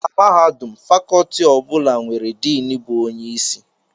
Na mahadum, Fakọọti ọ bụla nwere Din bụ onye isi